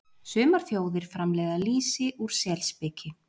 Sumar þjóðir framleiða lýsi úr selspiki.